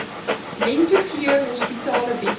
lentegeur hospitale bied